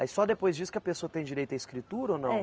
Aí só depois disso que a pessoa tem direito à escritura ou não?